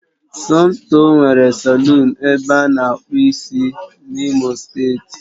Somtoo nwere salọ̀ọ̀n ebe ana akpụ ịsị n'imo steeti